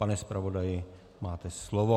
Pane zpravodaji, máte slovo.